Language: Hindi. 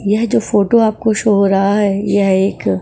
यह जो फोटो आपको शो रहा है यह एक --